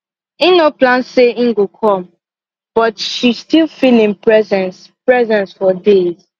im no plan say him go come but she still feel him presence presence for days